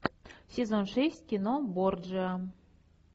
сезон шесть кино борджиа